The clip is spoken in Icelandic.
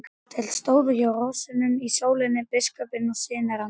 Þeir stóðu hjá hrossunum í sólinni, biskupinn og synir hans.